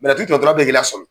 Bɛrɛtigi jɔtɔla filƐ k'i lasƆmi,